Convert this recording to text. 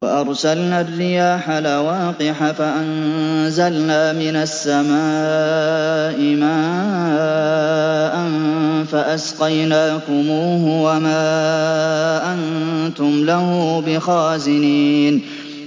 وَأَرْسَلْنَا الرِّيَاحَ لَوَاقِحَ فَأَنزَلْنَا مِنَ السَّمَاءِ مَاءً فَأَسْقَيْنَاكُمُوهُ وَمَا أَنتُمْ لَهُ بِخَازِنِينَ